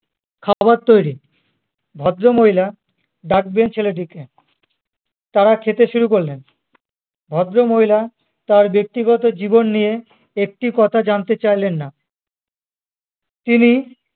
খাবার তৈরী, ভদ্রমহিলা ডাকবেন ছেলেটিকে তারা খেতে শুরু করলেন ভদ্রমহিলা তার ব্যক্তিগত জীবন নিয়ে একটি কথা জানতে চাইলেন না তিনি